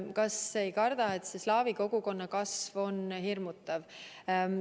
Kas me ei karda, et slaavi kogukonna kasv on hirmutav?